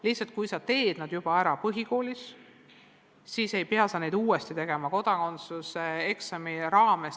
Lihtsalt sa teed selle kõik ära põhikoolis ega pea uuesti tegema täiskasvanuna kodakondsuse eksami raames.